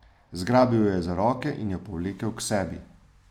Zgrabil jo je za roke in jo povlekel k sebi.